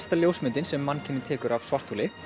ljósmyndin sem mannkynið tekur af svartholi